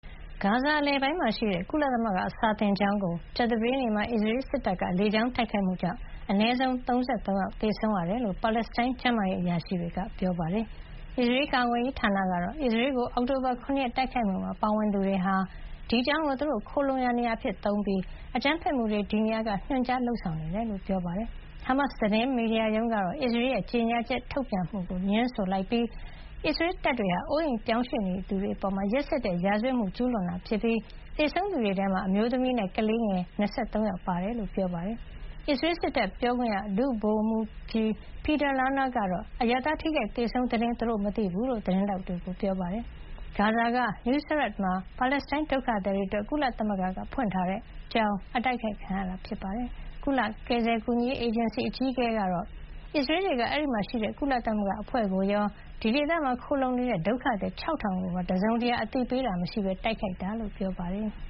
ဂါဇာအလယ်ပိုင်းမှာဖွင့်ထားတဲ့ ကုလသမဂ္ဂစာသင်ကျောင်းကို ကြာသပတေးနေ့မှာ အစ္စရေးစစ်တပ်က လေကြောင်းတိုက်ခိုက်မှုကြောင့် အနည်းဆုံး ၃၃ ဦးသေဆုံးခဲ့ရတယ်လို့ ပါလက်စတိုင်း ကျန်းမာရေးအရာရှိတွေက ပြောပါတယ်။ အစ္စရေးကာကွယ်ရေးဌာနကတော့ အစ္စရေးကို အောက်တိုဘာ ၇ ရက်တိုက်ခိုက်မှုမှာပါဝင်သူတွေဟာ ဒီကျောင်းကို သူတို့ခိုလှုံရာနေရာအဖြစ် အသုံးချပြီး အကြမ်းဖက်မှုတွေကို ဒီနေရာကနေ ညွှန်ကြားလုပ်ဆောင်နေတယ်လို့ ပြောပါတယ်။ ဟာမတ်စ် သတင်းမီဒီယာရုံးကတော့ အစ္စရေးရဲ့အဲဒီကြေညာချက်ကို ငြင်းဆိုလိုက်ပြီး အစ္စရေးတပ်တွေဟာ အိုးအိမ်ရွှေ့ပြောင်းနေရသူတွေအပေါ် ရက်စက်တဲ့ရာဇဝတ်မှု ကျူးလွန်ခဲ့တာဖြစ်ပြီး သေဆုံးရသူတွေထဲမှာ အမျိုးသမီးနဲ့ ကလေးငယ် ၂၃ ယောက် ပါနေတယ်လို့ ပြောပါတယ်။ အစ္စရေးစစ်တပ်ပြောခွင့်ရ ဒုဗိုလ်မှူးကြီး Peter Lerner ကတော့ အရပ်သား ထိခိုက်သေဆုံးတဲ့သတင်း သူတို့မသိဘူးလို့ သတင်းထောက်တွေကို ပြောပါတယ်။ ဂါဇာက Nuseirat မှာ ပါလက်စတိုင်းဒုက္ခသည်တွေအတွက် ကုလသမဂ္ဂကဖွင့်ထားတဲ့ကျောင်း အတိုက်ခိုက်ခံရတာပါ။ ဒါဟာ ဂါဇာမှာ ကြောက်စရာကောင်းတဲ့ နောက်ထပ်ရက်စွဲတခုဖြစ်ကြောင်း ကုလကယ်ဆယ်ကူညီရေး အေဂျင်စီအကြီးအကဲ Philippe Lazzarini က ပြောပါတယ်။ အစ္စရေးတွေက အဲဒီမှာရှိတဲ့ ကုလသမဂ္ဂအဖွဲ့ကိုရော အဲဒီဒေသမှာ ခိုလှုံနေတဲ့ ဒုက္ခသည် ၆,၀၀၀ ကိုပါ တစုံတရာ သတိပေးတာ မရှိဘဲတိုက်ခိုက်ခဲ့တာလို့လည်း ပြောပါတယ်။